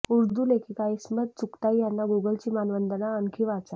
उर्दू लेखिका इस्मत चुगताईं यांना गुगलची मानवंदना आणखी वाचा